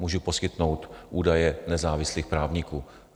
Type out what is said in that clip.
Mohu poskytnout údaje nezávislých právníků.